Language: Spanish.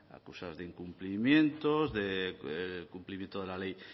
acusados de incumplimientos del cumplimiento de la ley